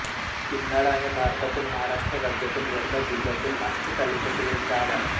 किन्हाळा हे भारतातील महाराष्ट्र राज्यातील वर्धा जिल्ह्यातील आष्टी तालुक्यातील एक गाव आहे